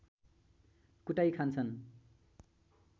कुटाई खान्छन्